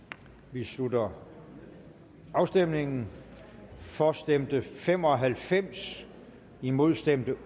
vi slutter afstemningen for stemte fem og halvfems imod stemte